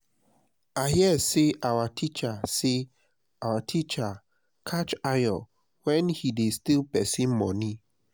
i hear say our teacher say our teacher catch ayo wen he dey steal person money